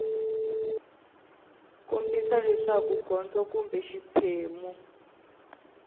kombisa leswaku gondzo kumbe xiphemu